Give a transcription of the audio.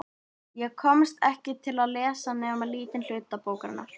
Ég komst ekki til að lesa nema lítinn hluta bókanna.